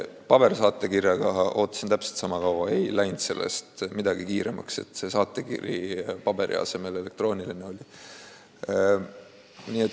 Pabersaatekirjaga ootasin täpselt sama kaua – ei läinud sellest midagi kiiremaks, et saatekiri paberi asemel elektrooniline oli.